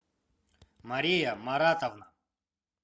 мария маратовна